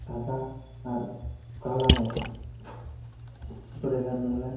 সাদা আর কালা মতন মেলায় ।